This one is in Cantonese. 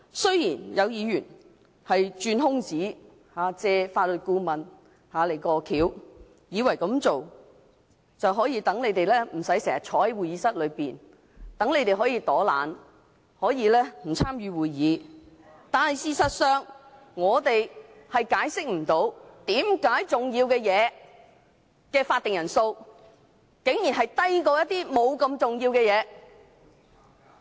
雖然有議員鑽空子，"借法律顧問過橋"，以為這樣做，他們便不用經常坐在會議廳內，可以躲懶，可以不參與會議，但事實上，我們無法解釋，為甚麼重要的全體委員會法定人數，竟然低於處理不太重要事項的會議。